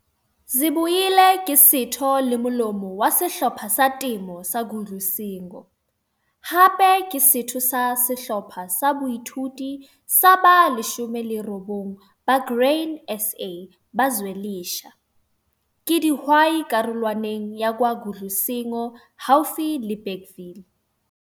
Zibuyile ke setho le molomo wa Sehlopha sa Temo sa Gudlucingo. Hape ke setho sa Sehlopha sa Boithuto sa ba 29 ba Grain SA ba Zwelisha. Ke dihwai karolwaneng ya KwaGudlucingo haufi le Bergville.